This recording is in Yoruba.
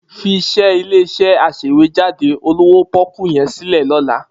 Fiṣẹ́ ilé-iṣẹ́ aṣèwéjádé olówó pọ́ọ́kú yẹn sílẹ̀ lọ́la.